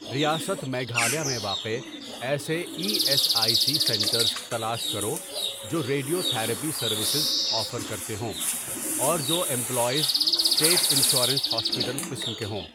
ریاست میگھالیہ میں واقع ایسے E S I C centres تلاش کرو جو ریڈیو تھراپی سروسز آفر کرتے ہوں اور جو امپلائیز اسٹیٹ انشورنس ہاسپیٹل قسم کے ہوں۔